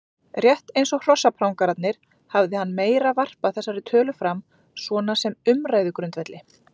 Rétt eins og hrossaprangararnir hafði hann meira varpað þessari tölu fram svona sem umræðugrundvelli.